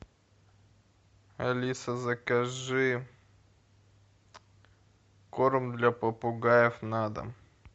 алиса закажи корм для попугаев на дом